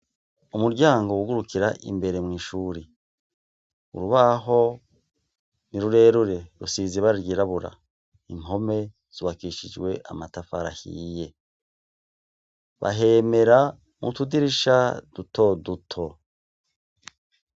Umuryango wugurukira imbere mw'ishuri, urubaho ni rurerure rusize ibara ryirabura, impome zubakishijwe amatafari ahiye, bahemera mu tudirisha duto duto.